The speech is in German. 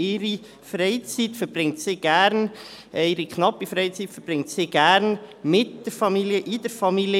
Ihre knappe Freizeit verbringt sie gerne mit der Familie, innerhalb der Familie.